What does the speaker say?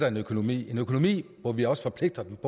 en økonomi økonomi hvor vi også forpligter dem